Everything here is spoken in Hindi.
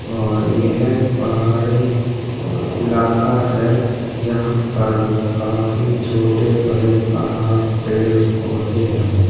और ये है पहाड़ी इलाका है जहां पर काफी छोटे बड़े पहाड़ पेड़-पौधे हैं।